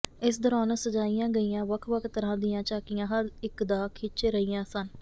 ਇਸ ਦੌਰਾਨ ਸਜਾਈਆਂ ਗਈਆਂ ਵੱਖ ਵੱਖ ਤਰ੍ਹਾਂ ਦੀਆਂ ਝਾਕੀਆਂ ਹਰ ਇੱਕ ਦਾ ਖਿੱਚ ਰਹੀਆਂ ਸਨ